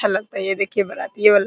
अच्छा लगता है ये देखिए बराती ए वाला --